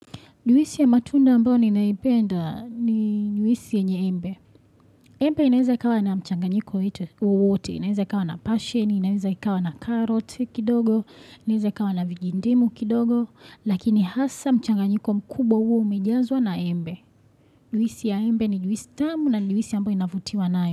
Juisi ya matunda ambao ninaipenda ni juisi yanye embe. Embe inaeza ikawa na mchanganyiko wowote, inaeza ikawa na pasheni, inaeza ikawa na karoti kidogo, inaeza ikawa na vijindimu kidogo. Lakini hasa mchanganyiko mkubwa huwa umejazwa na embe. Juisi ya embe ni juisi tamu na ni juisi ambayo inavutiwa nayo.